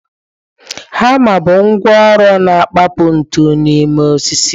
Hama bụ ngwá ọrụ na-akụpa ntu n'ime osisi.